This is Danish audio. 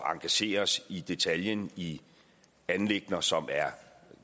engagere os i detaljen i anliggender som er